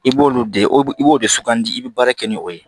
I b'olu de i b'o de sugandi i be baara kɛ ni o ye